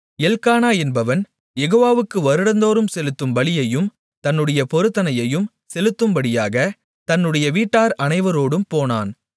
எல்க்கானா என்பவன் யெகோவாவுக்கு வருடந்தோறும் செலுத்தும் பலியையும் தன்னுடைய பொருத்தனையையும் செலுத்தும்படியாக தன்னுடைய வீட்டார் அனைவரோடும் போனான்